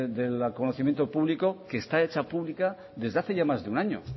del conocimiento público que está hecha pública desde hace ya más de un año